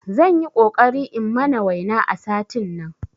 Zanyi ƙoƙari in mana waina a satin nan